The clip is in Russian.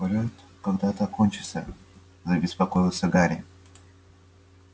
полёт когда-то кончится забеспокоился гарри